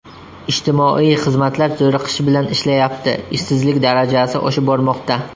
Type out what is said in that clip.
Ijtimoiy xizmatlar zo‘riqish bilan ishlayapti, ishsizlik darajasi oshib bormoqda.